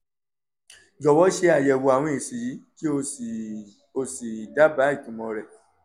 jọ̀wọ́ ṣe àyẹ̀wò àwọn èsì yìí kí o sì o sì dábàá ìtumọ̀ wọn